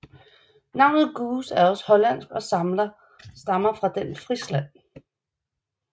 Navnet Goose er også hollandsk og stammer fra den Frisland